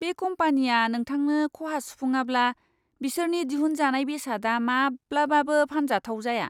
बे कम्पानिया नोंथांनो खहा सुफुङाब्ला, बिसोरनि दिहुनजानाय बेसादआ माब्लाबाबो फानजाथाव जाया!